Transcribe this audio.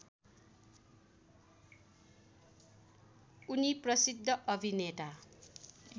उनी प्रसिद्ध अभिनेता